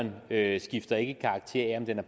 væsentligt når en